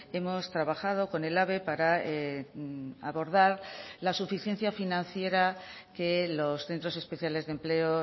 hemos trabajado con ehlabe para abordar la suficiencia financiera que los centros especiales de empleo